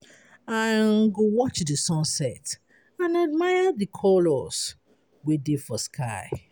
I um go watch di sunset and admire di colors wey dey for sky.